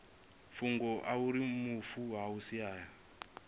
fhungo auri mufu o sia